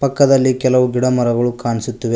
ಪಕ್ಕದಲ್ಲಿ ಕೆಲವು ಗಿಡ ಮರಗಳು ಕಾಣಿಸುತ್ತಿವೆ.